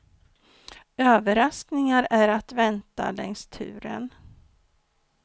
Överraskningar är att vänta längs turen.